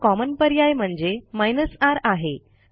दुसरा कॉमन पर्याय म्हणजे r आहे